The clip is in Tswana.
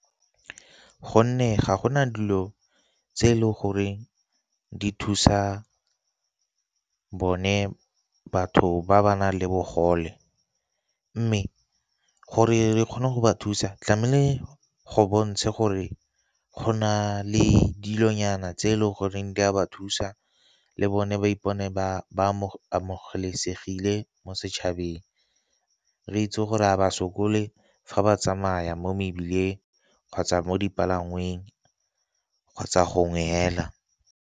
Gonne ga gona dilo tse e leng goreng di thusa bone batho ba ba nang le bogole, mme gore re kgone go ba thusa tlamehile go bontshe gore go na le dilonyana tse e leng goreng di a ba thusa le bone ba ipone ba ba amogelesegile mo setšhabeng. Re itse gore a ba sokole fa ba tsamaya mo mebileng kgotsa mo dipalangweng kgotsa go hela.